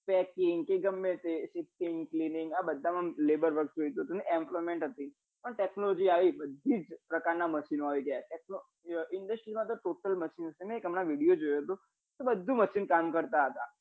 packing કે ગમે તે આ બધામાં label work એટલે emploment પણ technology આવી છે વિવિધ પ્રકારના machine નો આવે છે industry મા તો total machine બધે machine મેં હમણાં એક video જોયો તો કે બધું machine કામ કરતા હતા